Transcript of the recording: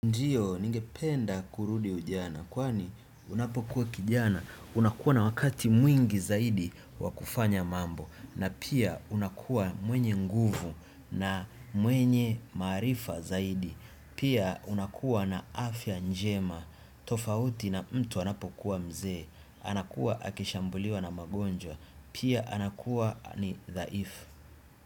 Ndiyo, ninge penda kurudi ujana, kwani unapokuwa kijana, unakuwa na wakati mwingi zaidi wakufanya mambo, na pia unakuwa mwenye nguvu na mwenye maarifa zaidi, pia unakuwa na afya njema, tofauti na mtu anapokuwa mzee, anakuwa akishambuliwa na magonjwa, pia anakuwa ni dha ifu.